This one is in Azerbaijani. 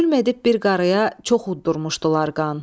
Zülm edib bir qarıya çox uddurmuşdular qan.